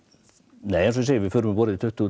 nei eins og ég segi við förum um borð í tuttugu